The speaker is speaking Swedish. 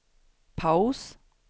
paus